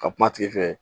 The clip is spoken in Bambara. Ka kuma tigi fɛ